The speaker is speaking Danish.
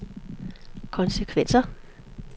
konsekvenser